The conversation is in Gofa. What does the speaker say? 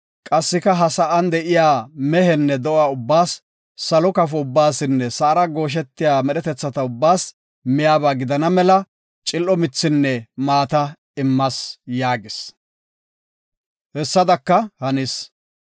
Qassika ha sa7an de7iya mehenne do7a ubbaas, salo kafo ubbaasinne sa7ara gooshetiya medhetetha ubbaas miyaba gidana mela, cil7o mithinne maata immas” yaagis; hessadaka hanis.